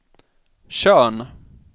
Tjörn